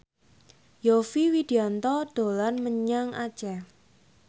Yovie Widianto dolan menyang Aceh